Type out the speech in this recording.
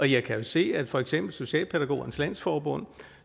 jeg kan jo se at for eksempel socialpædagogernes landsforbund